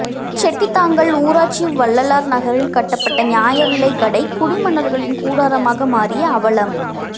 செட்டித்தாங்கல் ஊராட்சி வள்ளலார் நகரில் கட்டப்பட்ட நியாயவிலை கடை குடிமன்னர்களின் கூடாரமாக மாறிய அவலம்